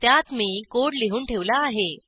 त्यात मी कोड लिहून ठेवला आहे